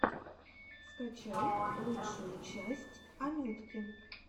скачай лучшую часть анютки